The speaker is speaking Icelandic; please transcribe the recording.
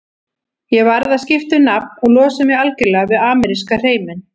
Ég varð að skipta um nafn og losa mig algjörlega við ameríska hreiminn.